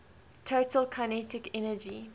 total kinetic energy